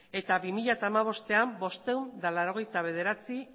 eta bi mila hamabostean bostehun eta laurogeita bederatzi